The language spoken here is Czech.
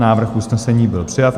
Návrh usnesení byl přijat.